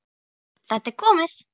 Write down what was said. Þetta er komið!